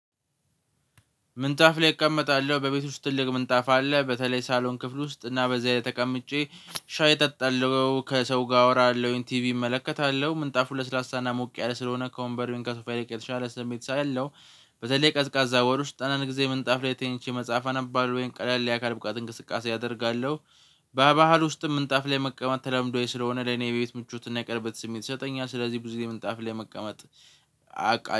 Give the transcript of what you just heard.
ምንጣፍ ላይ እቀመጣለሁ በቤት ውስጥ ትልቅ ምንጣፍ አለ በተለይ ሳሎን ክፍል ውስጥ እና በዚያ ላይ ተቀምጬ ሻይ ጠጣለሁ ከሰው ጋር አወራለሁኝ ቲቪ እመለከታለሁ ምንጣፉ ለስላሳና ሞቅ ያለ ስለሆነ ከወንበሩን ከሶፋ ይልቅ የተሻለ ስሜት ስላለው። በተለይ ቀዝቃዛ ወር ውስጥ አንዳንድ ጊዜ ምንጣፍ አንድ ላይ ተኝቼ መጽሐፍ አነባለሁ ቀላል የአካል ብቃት እንቅስቃሴ አደርጋለሁ። በባህል ውስጥም ምንጣፍ ላይ መቀመጥ ተላምዷዊ ስለሆነ ለኔ የቤት ምቾትና የቀረበት ስሜት ይሰጠኛል ስለዚህ ብዙ ምንጣፍ ላይ መቀመጥ። አቃ